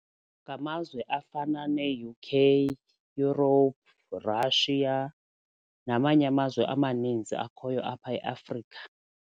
Ngamazwe afana nee-U_K, Euroupe, Russia namanye amazwe amaninzi akhoyo apha eAfrika.